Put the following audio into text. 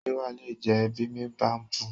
Ṣé wàá lè jẹ bimibapu?